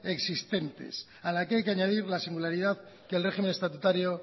existente a la que hay que añadir la singularidad que el régimen estatutario